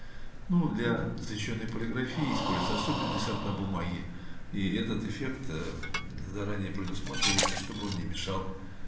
ну для защищённой полиграфии используя особенности сорта бумаги и этот эффект ээ заранее предусматривается чтобы он не мешал